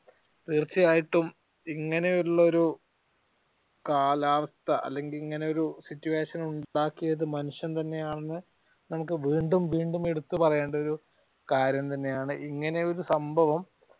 തീർച്ചയായിട്ടും ഇങ്ങനെ ഉള്ള ഒരു കാലാവസ്ഥ അല്ലെങ്കിൽ ഇങ്ങനെ ഒരു situation ഉണ്ടാക്കിയത് മനുഷ്യൻ തന്നെ ആണ് നമുക്ക് വീണ്ടും വീണ്ടും എടുത്ത് പറയേണ്ട ഒരു കാര്യം തന്നെയാണ്. ഇങ്ങനെ ഒരു സംഭവം